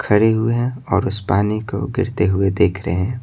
खड़े हुए हैं और उस पानी को गिरते हुए देख रहे हैं।